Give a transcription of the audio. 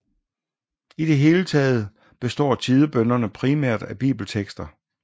I det hele taget består tidebønnerne primært af bibeltekster